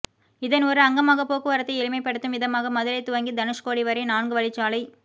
இதன் ஒரு அங்கமாக போக்குவரத்தை எளிமைப்படுத்தும் விதமாக மதுரை துவங்கி தனுஷ்கோடி வரை நான்கு வழிச்சாலைப்